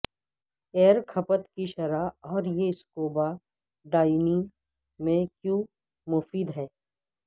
year کھپت کی شرح اور یہ سکوبا ڈائیونگ میں کیوں مفید ہے